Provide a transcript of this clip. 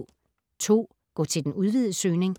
Gå til den udvidede søgning